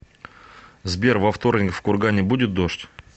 сбер во вторник в кургане будет дождь